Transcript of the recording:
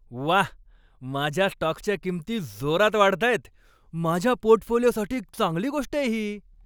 व्वा, माझ्या स्टॉक्सच्या किंमती जोरात वाढताहेत! माझ्या पोर्टफोलिओसाठी चांगली गोष्ट आहे ही.